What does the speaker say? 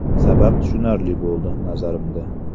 Sabab tushunarli bo‘ldi, nazarimda.